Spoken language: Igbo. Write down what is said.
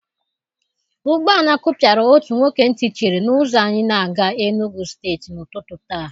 Ụgbọala kụpịara otu nwoke ntị chiri na ụzọ anyị na-aga Enugwu steeti n'ụtụtụ taa.